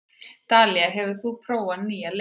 Dalía, hefur þú prófað nýja leikinn?